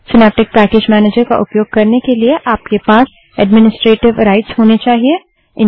synaptic package manager का उपयोग करने के लिए आपके पास एडमिनिस्ट्रेटिव राइट्स होना चाहिए